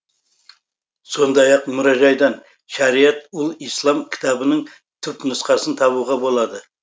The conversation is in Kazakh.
сондай ақ мұражайдан шариат ұл ислам кітабының түпнұсқасын табуға болады